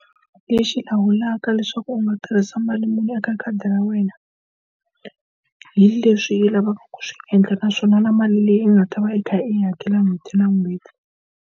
Lexi lawulaka leswaku u nga tirhisa mali muni eka khadi ra wena, hi leswi u lavaka ku swi endla naswona na mali leyi u nga ta va i kha i hakela n'hweti na n'hweti.